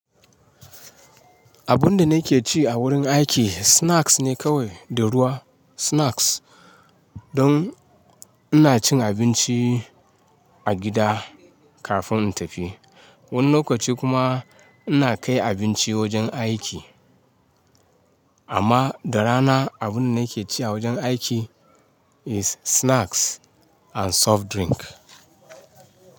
Abun da nake ci a wurin aiki snacks ne kawai da ruwa. Snacks. Don ina cin abinci a gida kafin in tafi. Wani lokaci kuma ina kai abinci wajen aiki. Amma da rana abun da nake ci a wajen aiki is snacks and soft drink.